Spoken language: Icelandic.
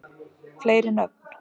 fleiri nöfn